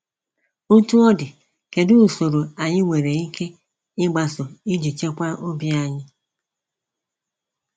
Otú ọ dị, kedu usoro anyị nwere ike ịgbaso iji chekwaa obi anyị?